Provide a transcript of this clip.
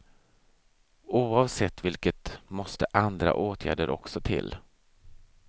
Oavsett vilket måste andra åtgärder också till.